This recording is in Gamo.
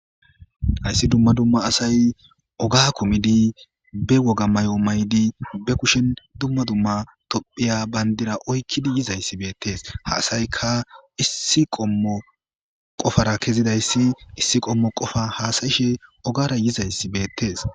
Hayssi dumma dumma asay oga kumidi bewoga may'o maydi bekushen dumma dumma tophiya bayndira oykkidi yizayssi beettes haasayka issi qommo qofara kezidayssi issi qommo qofa haasayishe ogara yizayssi beettees.